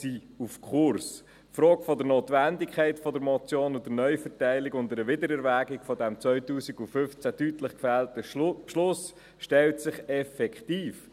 Die Frage der Notwendigkeit der Motion und der Neuverteilung und einer Wiedererwägung des 2015 deutlich gefällten Beschlusses stellt sich effektiv.